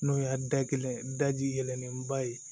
N'o y'a da kelen ye daji yɛlɛnen ba ye